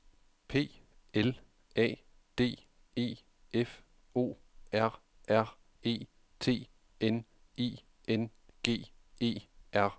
P L A D E F O R R E T N I N G E R